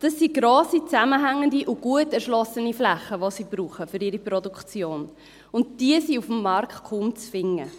Es sind grosse, zusammenhängende und gut erschlossene Flächen, die sie für ihre Produktion brauchen, und diese sind auf dem Markt kaum zu finden.